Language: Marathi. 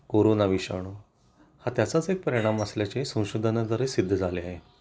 कोरोना विषाणू हा त्याचाच परिणाम असल्याचे संशोधना द्वारे सिद्ध झाले आहे